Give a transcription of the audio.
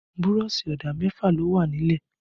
Burọ̀ṣì ọ̀dà mẹfa ló wà nílẹ̀